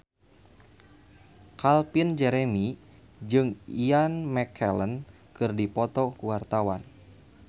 Calvin Jeremy jeung Ian McKellen keur dipoto ku wartawan